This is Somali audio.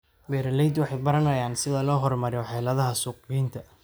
Beeraleydu waxay baranayaan sida loo horumariyo xeeladaha suuqgeynta.